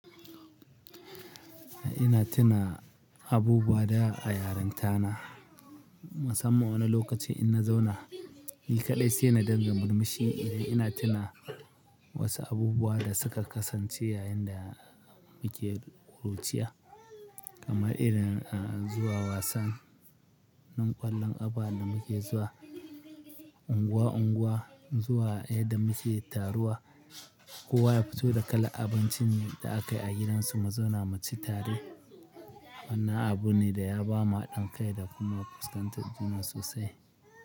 Ina tuna abubuwa da a yarentana, musamman wane lokaci ina zauna. Ni kaɗai sai na dingga murmushi idan ina tuna wasu abubuwa da suka kasance yayin da muke ƙuruciya kamar irin zuwa wasan, nan ƙwallon ƙafa da muke zuwa unguwa unguwa zuwa inda muke taruwa. Kowa ya fito da kala'a abincin da aka yi a gidansu mu zauna mu ci tare. Wannan abu ne da ya ba mu haɗin kai da kuma fuskantar juna sosai.